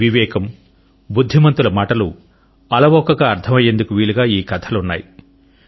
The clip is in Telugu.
వివేకం బుద్ధిమంతుల మాటలు అలవోకగా అర్థం అయ్యేందుకు వీలుగా ఈ కథలున్నాయి